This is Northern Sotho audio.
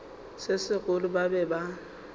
se segolo ba be ba